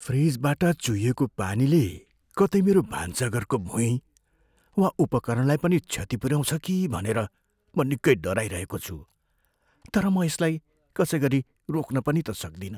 फ्रिजबाट चुहिएको पानीले कतै मेरो भान्साघरको भुईँ वा उपकरणलाई पनि क्षति पुऱ्याउँछ कि भनेर म निकै डराइरहेको छु, तर म यसलाई कसै गरी रोक्न पनि त सक्दिनँ।